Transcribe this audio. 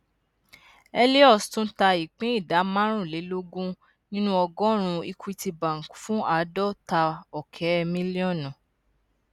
helios tun ta ìpín ìdá márùnlélógún nínú ọgọrùnún equity bank fún àádọtaọkẹ mílíọnùsh